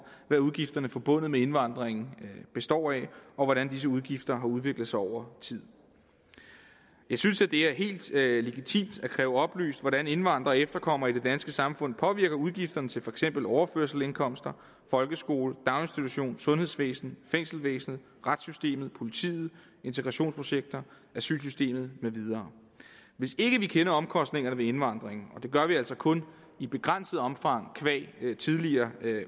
hvad udgifterne forbundet med indvandring består af og hvordan disse udgifter har udviklet sig over tid jeg synes at det er helt legitimt at kræve oplyst hvordan indvandrere og efterkommere i det danske samfund påvirker udgifterne til for eksempel overførselsindkomster folkeskole daginstitutioner sundhedsvæsen fængselsvæsen retssystem politi integrationsprojekter asylsystem med videre hvis ikke vi kender omkostningerne ved indvandring og det gør vi altså kun i begrænset omfang qua tidligere